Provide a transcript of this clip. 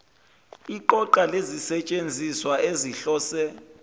iqoqa lezisetshenziswa ezihlose